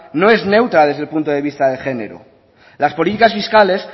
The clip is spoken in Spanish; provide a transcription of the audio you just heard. no es neutra desde el punto de vista de género las políticas fiscales